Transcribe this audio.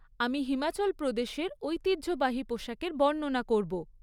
আমি হিমাচল প্রদেশের ঐতিহ্যবাহী পোশাকের বর্ণনা করব।